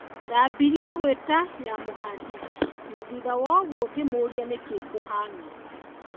Ndambirie gũĩta "Ya muhandis" na thutha woguo ngĩmũũrĩa nĩkĩĩ kũhiana ũguo.